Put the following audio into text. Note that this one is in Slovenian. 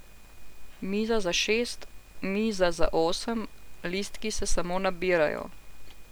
Miza za šest, miza za osem, listki se samo nabirajo.